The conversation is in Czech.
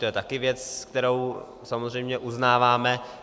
To je taky věc, kterou samozřejmě uznáváme.